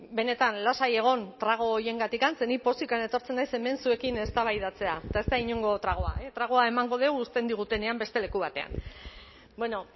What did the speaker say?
benetan lasai egon trago horiengatik ze ni pozik etortzen naiz hemen zuekin eztabaidatzera eta ez da inongo tragoa tragoa emango dugu uzten digutenean beste leku batean bueno